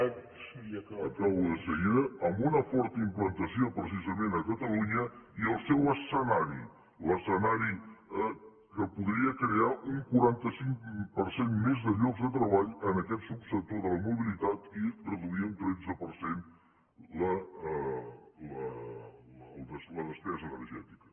acabo de seguida amb una forta implantació precisament a catalunya i el seu escenari l’escenari que podria crear un quaranta cinc per cent més de llocs de treball en aquest subsector de la mobilitat i reduir un tretze per cent la despesa energètica